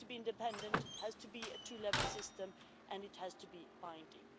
It has to be independent, it has to be a two level system and it has to be binding.